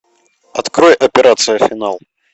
открой операцию финал